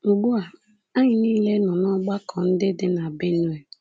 Ugbu a, anyị niile nọ n’ọgbakọ ndị dị na Benue.